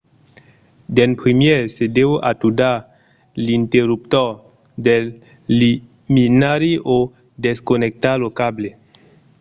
d'en primièr se deu atudar l’interruptor del luminari o desconnectar lo cable